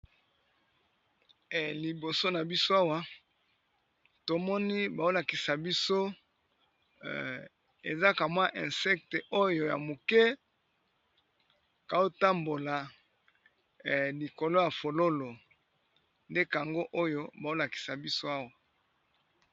Liboso na biso awa tomoni baolakisa biso ezaka mwa insecte oyo ya moke kootambola likolo ya fololo ndekango oyo baolakisa biso awa.